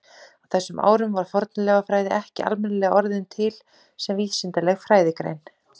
Á þessum árum var fornleifafræði ekki almennilega orðin til sem vísindaleg fræðigrein.